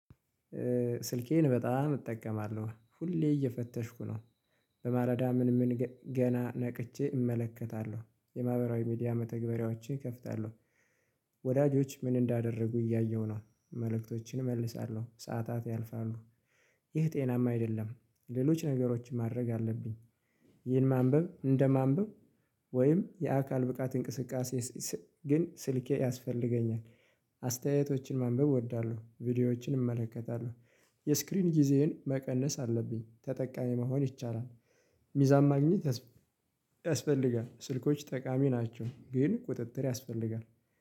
ስልኬን በጣም እጠቀማለሁ ሁሌ እየፈተሽኩ ነው። በማለዳ ምን ምን ገና ነቅቼ እመለከታለሁ የማህበራዊ ሚዲያ መተግበሪያዎቼ እከፍታለሁ። ወዳጆች ምን እንዳደረጉ እያየሁ ነው። መልእክቶችን እመልሳለሁ ሰዓታት ያልፋሉ። ይህ ጤናማ አይደለም። ሌሎች ነገሮችን ማድረግ አለብኝ። ይህን ማንበብ እንደ ማንበብ ወይም የአካል ብቃት እንቅስቃሴ። ግን ስልኬ ያስፈልገኛል። አስተያየቶችን ማንበብ እወዳለሁ ቪዲዮዎችን እመለከታለሁ። የስክሪን ጊዜህን መቀነስ አለብኝ ተጠቃሚ መሆን ይቻላል። ሚዛን ማግኘት ያስፈልጋል። ስልኮች ጠቃሚ ናቸው። ግን ቁጥጥር ያስፈልጋል